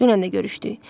Dünən də görüşdük.